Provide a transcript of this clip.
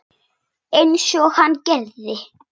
Einsog hann gerði.